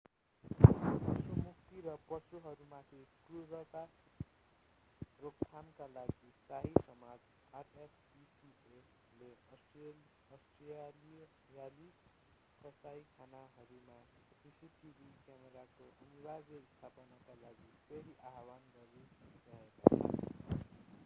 पशु मुक्ति र पशुहरूमाथि क्रुरता रोकथामका लागि शाही समाज rspcaले अष्ट्रेलियाली कसाइखानाहरूमा सीसीटीभी क्यामेराको अनिवार्य स्थापनाका लागि फेरि आह्वान गरिरहेका छन्।